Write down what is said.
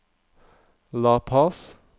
La Paz